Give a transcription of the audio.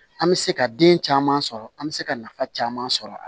An bɛ se ka den caman sɔrɔ an bɛ se ka nafa caman sɔrɔ a la